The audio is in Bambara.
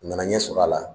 U nana ɲɛ sɔrɔ a la